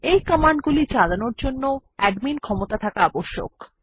এই কমান্ড গুলি চালানোর জন্য অ্যাডমিন ক্ষমতা থাকা আবশ্যক